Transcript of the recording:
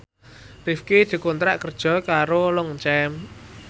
Rifqi dikontrak kerja karo Longchamp